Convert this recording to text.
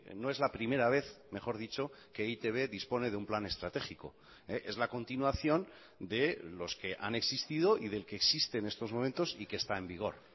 no es la primera vez mejor dicho que e i te be dispone de un plan estratégico es la continuación de los que han existido y del que existe en estos momentos y que está en vigor